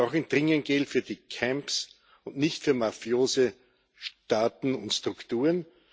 Wir brauchen dringend Geld für die Camps und nicht für mafiöse Staaten und Strukturen.